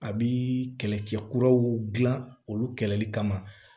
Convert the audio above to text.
A bi kɛlɛcɛ kuraw gilan olu kɛlɛli kama